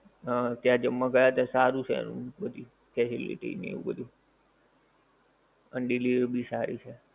હા ત્યાં જમવા ગયાતાં સારું છે એનું બધુ ને એ બધુ. અને delivery ભી સારી છે.